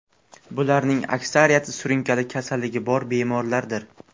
Bularning aksariyati surunkali kasalligi bor bemorlardir.